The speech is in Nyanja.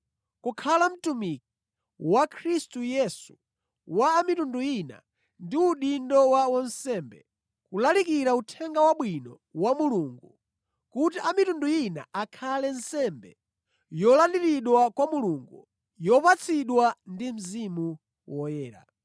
kukhala mtumiki wa Khristu Yesu wa a mitundu ina ndi udindo wa wansembe, kulalikira Uthenga Wabwino wa Mulungu, kuti a mitundu ina akhale nsembe yolandiridwa kwa Mulungu, yopatsidwa ndi Mzimu Woyera.